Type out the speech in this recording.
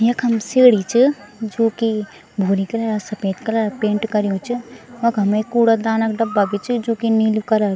यखम सीडी च जू की भूरी कलर सपेद कलर पेंट कर्युं च वखम एक कूड़ादान क डब्बा भी च जू की नीलू कलर ।